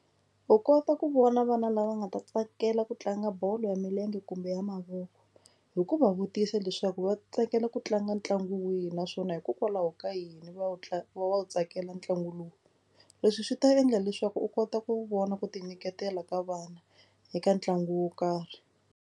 U kota ku vona vana lava nga ta tsakela ku tlanga bolo ya milenge kumbe ya mavoko hi ku va vutisa leswaku va tsakela ku tlanga ntlangu wihi naswona hikokwalaho ka yini va wu va wu tsakela ntlangu lowu. Leswi swi ta endla leswaku u kota ku vona ku tinyiketela ka vana eka ntlangu wo karhi.